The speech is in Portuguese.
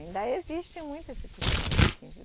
Ainda existe muito esse costume aqui em